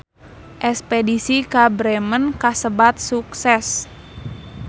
Espedisi ka Bremen kasebat sukses